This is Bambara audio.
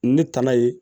Ne tana ye